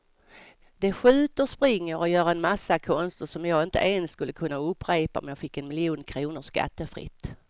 De skjuter, springer och gör en massa konster som jag inte ens skulle kunna upprepa om jag fick en miljon kronor skattefritt.